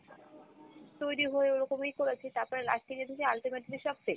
তৈরি হয়ে ওরোকমই করেছি তারপরে last এ গিয়ে দেখি ultimately সব fake।